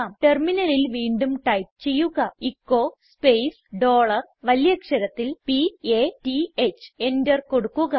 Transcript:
ടെർമിനലിൽ വീണ്ടും ടൈപ്പ് ചെയ്യുക എച്ചോ സ്പേസ് ഡോളർ വലിയ അക്ഷരത്തിൽ p a t h enter കൊടുക്കുക